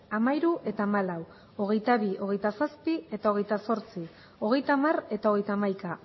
hamairu eta hamalau hogeita bi hogeita zazpi eta hogeita zortzi hogeita hamar eta hogeita hamaika